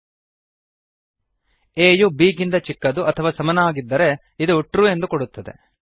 a ಯು b ಗಿಂತ ಚಿಕ್ಕದು ಅಥವಾ ಸಮವಾಗಿದ್ದರೆ ಇದು ಟ್ರು ಎಂದು ಕೊಡುತ್ತದೆ